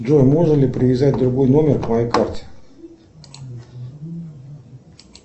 джой можно ли привязать другой номер к моей карте